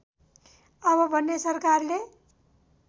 अब बन्ने सरकारले